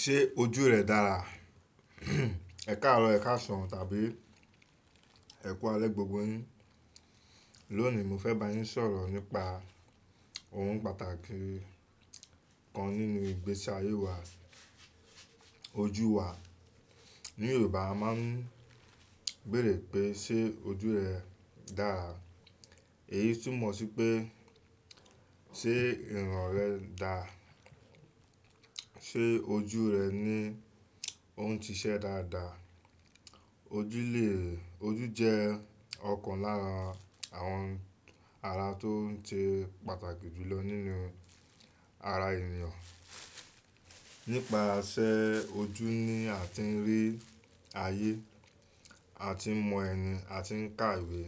Ṣé ojú rẹ dára? Ẹ̀kaàrọ̀, ẹ̀kásàn tàbí ẹ̀kú alẹ́ gbogbo yín. Lónìí mo fẹ́ bá yín sọ̀rọ̀ nípa ohun pàtàkì kan nínú ìgbésí ayé wa, ojú wa. Ní Yorùbá a máa ń béèrè pé ṣé ojú rẹ dára, èyí túmọ̀ sí pé ṣé ìran rẹ dà? Ṣé ojú rẹ ní ó ń ṣiṣẹ́ dáadáa? Ojú lè ojú jẹ́ ọ̀kan lára àwọn ara tó ń ṣe pàtàkì jùlọ nínú ara ènìyàn. Nípasẹ̀ ojú ni a ti ń rí ayé, a ti ń mọ ẹni, a ti ń ká ìwé,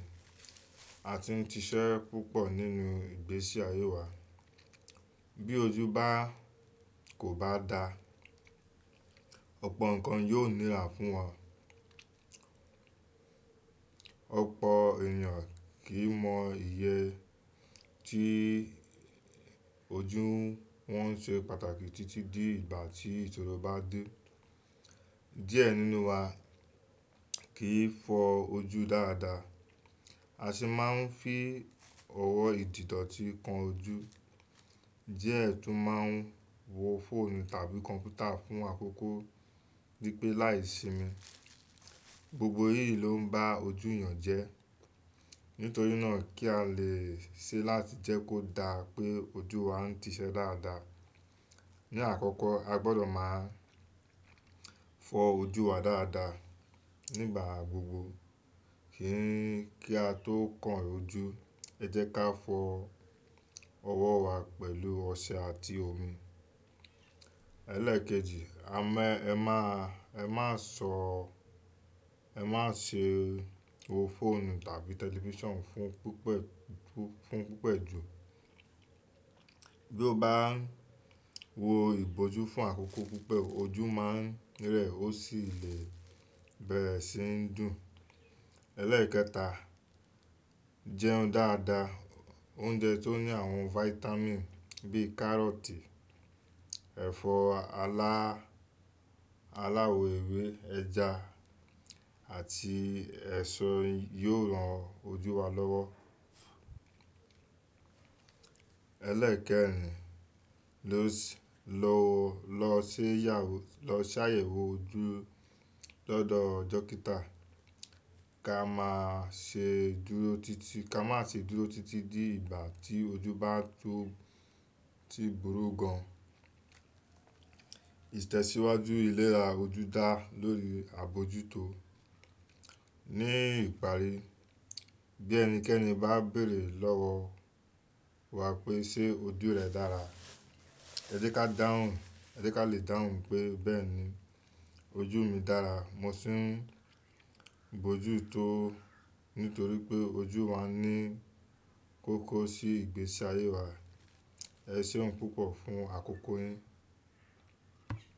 a ti ń ṣiṣẹ́ púpọ̀ nínú ìgbésí ayé wa. Bí ojú bá kò bá dára, ọ̀pọ̀ nǹkan yóò nírá fún wa. Ọ̀pọ̀ ènìyàn kì í mọ iye tí ojú wọn ṣe pàtàkì títí di ìgbà tí ìṣòro bá dé. Diẹ nínú wa kì í fọ ojú dáadáa, a sì máa ń fi ọwọ́ ìdìdọ̀ti kan ojú, díẹ̀ tún máa ń wo fóònù tàbí kọ̀npútà fún àkókó, ní pé láìsimi. Gbogbo èyí ló ń bá ojú ènìyàn jẹ́. Nítorí náà kí a lè ṣe láti jẹ́ kó dá pé ojú wa ń ṣiṣẹ́ dáadáa. Ni àkọ́kọ́ a gbọdọ̀ máa fọ ojú wa dáadáa nígbà gbogbo. Kí n kí a tó kàn ojú ẹ jẹ́ ká fọ ọwọ́ wa pẹ̀lú ọṣẹ àti omi. Ẹlẹ́ẹ̀kejì a má ẹ má sọ ẹ má ṣe wo fóònù tàbí tẹlifíṣàn fún púpẹ̀ fún púpẹ̀ jù. Bí o bá ń wo ìbòjú fún àkókó púpọ̀ ojú máa ń rẹ̀ ó sì lè bẹ̀rẹ̀ sí ń dùn. Ẹlẹ́ẹ̀kẹta jẹun dáadáa. Oúnjẹ tó ní àwọn fáítámììn bíì kárọ́tì, ẹ̀fọ́ alá aláwọ̀ ewé, ẹja àti ẹ̀so yóò ran ojú wa lọ́wọ́. Ẹlẹ́ẹ̀kẹrin ló lọ ṣe ya lọ ṣàyẹ̀wò ojú lọ́dọ̀ dókítà. Ka má ṣe dúró títí ka má ṣe dúró títí di ìgbà tí ojú bá tó ti burú gan. Ìtẹ̀síwájú ìlera ojú dá lórí àbojútó. Ní ìparí bí ẹnikẹ́ni bá béèrè lọ́wọ́ wa pé ṣé ojú rẹ dára, ẹ jẹ́ ká dáhùn ẹ jẹ́ ká lè dáhùn pé bẹ́ẹ̀ni ojú mi dára, mo sì ń bojútó ó. Nítorí pé ojú wa ní kókó sí ìgbésí ayé wa. Ẹ ṣeun púpọ̀ fún àkókó yín.